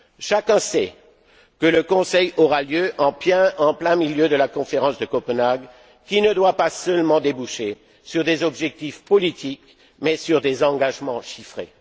Chacun sait que le Conseil aura lieu en plein milieu de la conférence de Copenhague, qui ne doit pas seulement déboucher sur des objectifs politiques, mais sur des engagements chiffrés.